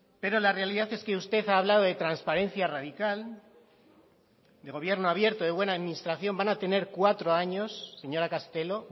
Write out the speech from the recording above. pero la realidad es que usted ha hablado de transparencia radical de gobierno abierto de buena administración van a tener cuatro años señora castelo